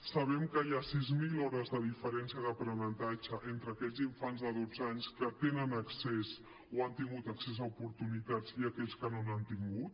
sabem que hi ha sis mil hores de diferència d’aprenentatge entre aquells infants de dotze anys que tenen accés o han tingut accés a oportunitats i aquells que no n’han tingut